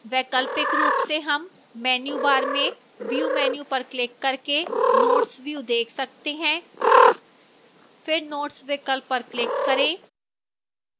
वैकल्पिक रूप से हम menu bar में view menu पर क्लिक करके notes view देख सकते हैं फिर notes विकल्प पर क्लिक करें